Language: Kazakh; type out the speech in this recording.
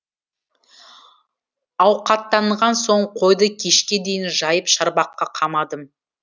ауқаттанған соң қойды кешке дейін жайып шарбаққа қамадым